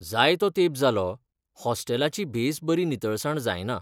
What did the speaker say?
जायतो तेंप जालो हॉस्टेलाची बेस बरी नितळसाण जायना.